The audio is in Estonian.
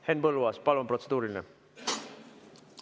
Henn Põlluaas, palun, protseduuriline!